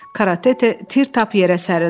Karatete tir tap yerə sərildi.